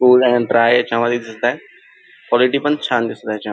Kul and dry याच्यामधे दिसत आहे क्वालिटी पण छान दिसत आहे याच्या--